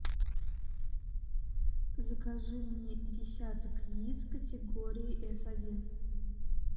закажи мне десяток яиц категории эс один